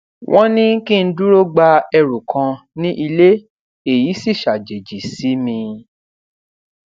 wón ní kí n dúró gba ẹrù kan ní ilé èyí sì ṣàjèjì sí mi